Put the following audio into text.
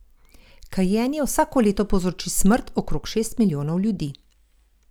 Kajenje vsako leto povzroči smrt okrog šest milijonov ljudi.